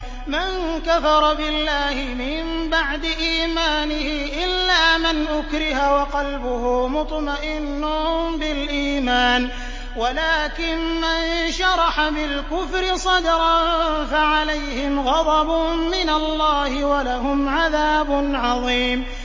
مَن كَفَرَ بِاللَّهِ مِن بَعْدِ إِيمَانِهِ إِلَّا مَنْ أُكْرِهَ وَقَلْبُهُ مُطْمَئِنٌّ بِالْإِيمَانِ وَلَٰكِن مَّن شَرَحَ بِالْكُفْرِ صَدْرًا فَعَلَيْهِمْ غَضَبٌ مِّنَ اللَّهِ وَلَهُمْ عَذَابٌ عَظِيمٌ